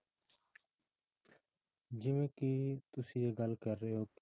ਜਿਵੇਂ ਕਿ ਤੁਸੀਂ ਇਹ ਗੱਲ ਕਰ ਰਹੇ ਹੋ